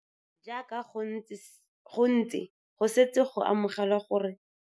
Jaaka go ntse go setse go amogelwa gore tlelaemete e a fetoga ka ntlha ya ditiragalo tsa batho tse di senyang loapi la lefathse la rona.